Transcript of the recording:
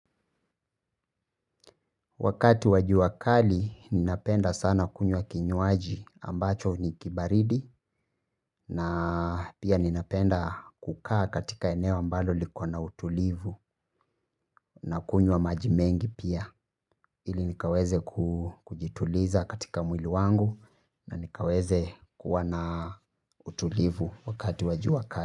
Wakati wa jua kali ninapenda sana kunywa kinywaji ambacho ni kibaridi na pia ninapenda kukaa katika eneo ambalo liko na utulivu na kunywa maji mengi pia ili nikaweze kujituliza katika mwili wangu na nikaweze kuwa na utulivu wakati wa jua kali.